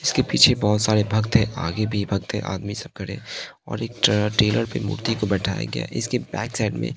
इसके पीछे बहोत सारे भक्त हैं आगे भी भक्त हैं आदमी सब खड़े और एक ट्रेलर पे मूर्ति को बैठाया गया इसके बैक साइड में--